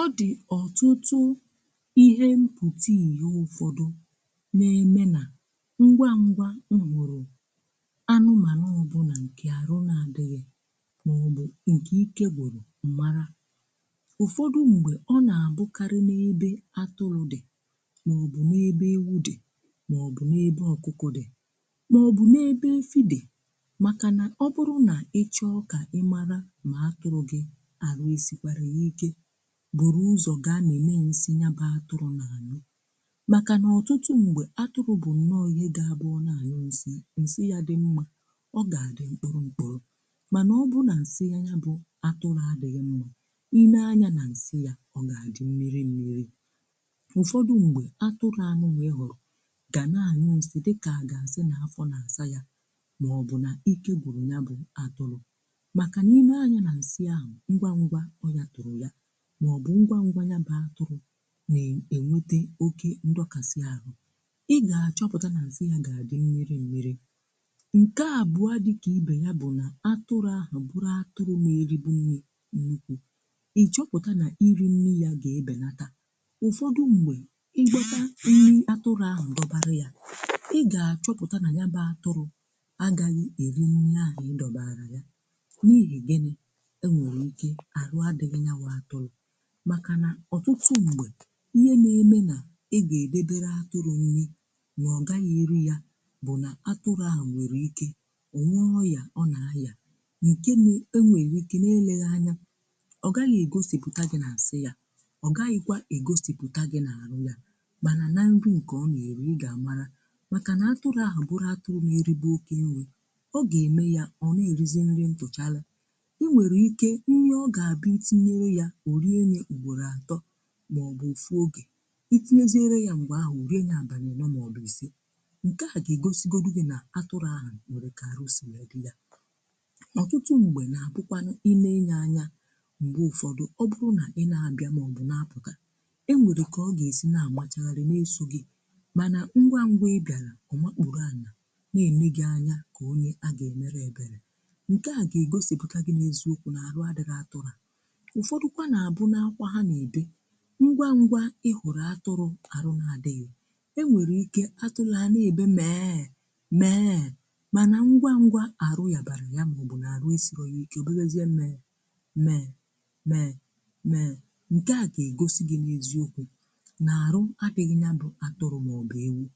Ọ dị ọtụtụ ihe mkpụrụnì, ụm ihe ụfọdụ na-eme ngwa ngwa n’ime anụmanụ ọbụla, hmm... nke arụ na-adịghị mma, maọbụ nke ike gboro mmara. Ụfọdụ mgbe um, nke a na-abụkarị n’ebe atụrụ dị, (um)maọbụ n’ebe ewu dị, maọbụ n’ebe ọkụkọ dị, maọbụ n’ebe mfide. Maka na um ọ bụrụ na ịchọ ịchọpụta ọrịa, ị maara site n’akụrụ. Nsị atụrụ bụ ihe na-egosi ọnọdụ ahụike ya. Nsị atụrụ dị mma ọ ga-adị mkpụrụ-mkpụrụ. Mana ọ bụrụ na nsị atụrụ adịghị mma, ime anya na nsị ya ga-egosi mmiri mmiri, eeh. Ụfọdụ mgbe, atụrụ nwere ọrịa ga-eme nsị dị ka agasi n’afọ, maọbụ n’asa ya, maọbụ mgbe ike gboro ya. Nsị ahụ ngwa ngwa hmm ga-agwa gị na atụrụ ahụ nwere nsogbu. Ọ bụrụ na atụrụ enweta oke ndọkasị ahụ, ụm… ị ga-achọpụta na nsị ya ga-adị mmiri mmiri. Nke abụọ, dịka ihe ọzọ… bụ na mgbe atụrụ eribunyere nri buru ibu, ị chọpụtara na iri nri ya ga-ebinata. Ụfọdụ mgbe mgbe i gbutara ihe nyere atụrụ nri, um ma ọ jụ iri ya, ị ga-achọpụta na atụrụ ahụ agaghị eri nri i dọbara ya. Nke a nwere ike ịbụ maka ọtụtụ ihe, eeh. Ọtụtụ mgbe, ihe na-eme bụ na ị ga-edobe atụrụ nri um… ma ọ gaghị eri ya, n’ihi na o nwere ike inwe ọrịa, ọ naghị adị mma n’ahịhịa. N’agbanyeghị nke ahụ… ụm, ọrịa ahụ agaghị egosipụtakwa ozugbo na nsị ya, ọ gaghịkwa egosipụtakwa n’arụ ya. Mana ihe ị ga-ahụ mbụ bụ na atụrụ ahụ adịghị eri nke ọma… Ọ naghị eto eto, ọ naghị adị ume, ma ọ naghị arụ ọrụ nke ọma. Ọ bụrụ na atụrụ ahụ n’eribe oke nri (I'm), ọ ga-abịaghị nro ya, maọbụ o nwere ike ịnụ ụfụ oge e tinyeere ya nri. Mgbe ahụ ị ga-achọpụta site n’isi maọbụ n’ahụ ya, na atụrụ ahụ nwere ọrịa. Ọtụtụ mgbe, atụrụ nwere ike ibido ịbanye n’ihu mmadụ, um maọbụ ịgbawa ọsọ mgbe mmadụ bịara nso, nke na-eme ka ọ dị ka onye chọrọ ka e mee ya ebere. Nke a bụ akara doro anya… eeh… na atụrụ ahụ nwere ọrịa. Ya mere ụm, ngwa ngwa ịchọpụta na atụrụ arụ na adịghị mma bụ ihe dị mkpa. Enweghị ike atụla ya n’ebe mee mee. Nsogbu ahụ nwere ike ịdị mfe… ụm, ma ọ nwekwara ike ịdị ike nke ukwuu. Nke a niile ga-egosi gị n’eziokwu na atụrụ maọbụ ewu ahụ nwere ọrịa.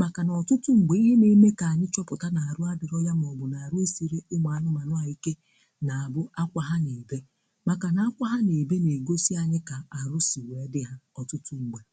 Maka na ọtụtụ mgbe ihe ndị a bụ ụzọ anyị si amata um, na arụ abịara... ha, maọbụ na arụ siri anụmanụ ike.